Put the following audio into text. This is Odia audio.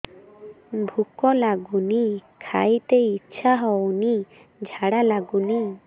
ଭୁକ ଲାଗୁନି ଖାଇତେ ଇଛା ହଉନି ଝାଡ଼ା ଲାଗୁନି